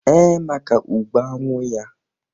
Ee, maka ugbo añwụ ya.